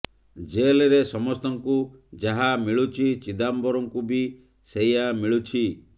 ଜେଲରେ ସମସ୍ତଙ୍କୁ ଯାହା ମିଳୁଛି ଚିଦାମ୍ବରମଙ୍କୁ ବି ସେଇଆ ମିଳୁଛି